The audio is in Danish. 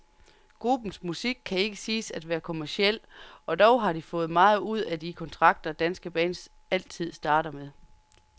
Gruppens musik kan ikke siges at være kommerciel, og dog har de fået meget ud af de kontrakter, danske bands altid strander med.